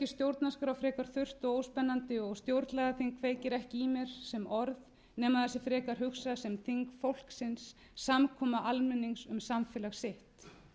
stjórnarskrá frekar þurrt og óspennandi og stjórnlagaþing kveikir ekki í mér sem orð nema það sé frekar hugsað sem þing fólksins samkoma almennings um samfélag sitt